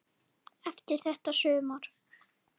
Eftir þetta sumar.